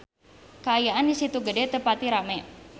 Kaayaan di Situ Gede teu pati rame